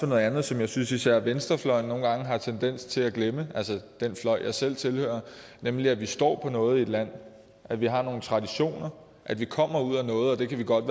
noget andet som jeg synes især venstrefløjen nogle gange har en tendens til at glemme altså den fløj jeg selv tilhører nemlig at vi står på noget i et land at vi har nogle traditioner at vi kommer ud af noget og at vi godt